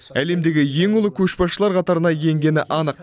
әлемдегі ең ұлы көшбасшылар қатарына енгені анық